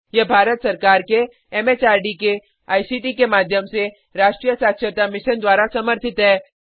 यह भारत सरकार के एमएचआरडी के आईसीटी के माध्यम से राष्ट्रीय साक्षरता मिशन द्वारा समर्थित है